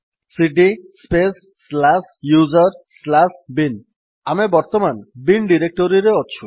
ସିଡି space slash user slash bin ଆମେ ବର୍ତ୍ତମାନ bin ଡିରେକ୍ଟୋରିରେ ଅଛୁ